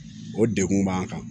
O degun b'an kan